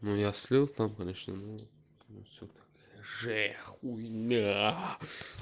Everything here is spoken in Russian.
ну я слил там конечно но всё такая же хуйня